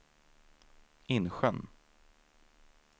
Insjön